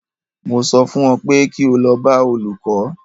Mo sọ fún ọ pé kí o lọ bá olùkó!